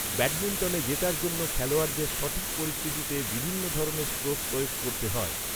ব্যাডমিন্টনে জেতার জন্য খেলোয়াড়দের সঠিক পরিস্থিতিতে, বিভিন্ন ধরনের স্ট্রোক প্রয়োগ করতে হয়।